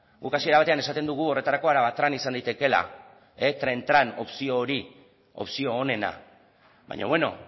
guk hasiera batean esaten dugu horretarako arabatran izan daitekeela tren tran opzio hori opzio onena baina beno